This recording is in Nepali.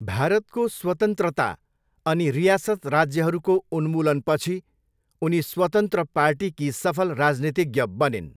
भारतको स्वतन्त्रता अनि रियासत राज्यहरूको उन्मूलनपछि, उनी स्वतन्त्र पार्टीकी सफल राजनीतिज्ञ बनिन्।